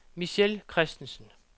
Michelle Kristensen